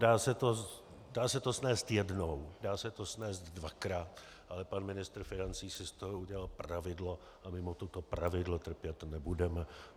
Dá se to snést jednou, dá se to snést dvakrát, ale pan ministr financí si z toho udělal pravidlo a my mu toto pravidlo trpět nebudeme.